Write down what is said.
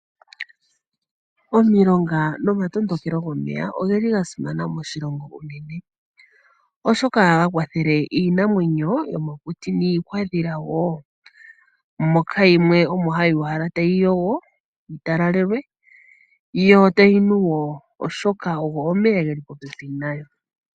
Omilonga nomatondokelo gomeya oga simana moshilongo oshika oha ga kwathele iinamwenyo yomokuti nuudhila. Moka yimwe omo hayikala ta yi mbwindi yo tayi nu woo oshoka ogo omeya ge li popepi nayo.